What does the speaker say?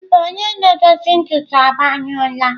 Mba, onye na-edozi ntutu agbanyụla.